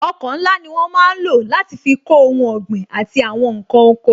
Ọkọ̀ ńlá ni wọ́n máa ń lò láti fi kó ohun ọ̀gbìn àti àwọn nkan oko